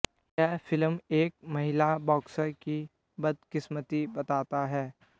यह फिल्म एक महिला बॉक्सर की बदकिस्मती बताता है